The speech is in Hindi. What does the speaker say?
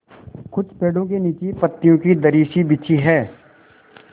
कुछ पेड़ो के नीचे पतियो की दरी सी बिछी है